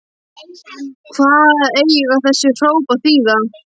Hvað eiga þessi hróp að þýða?!